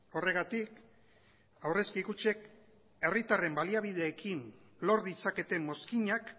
horregatik aurrezki kutxek herritarren baliabideekin lor ditzaketen mozkinak